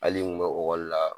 Hali n bɛ la